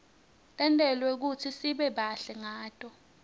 tentelwe kutsi sibe bahle ngato